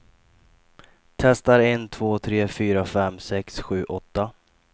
Testar en två tre fyra fem sex sju åtta.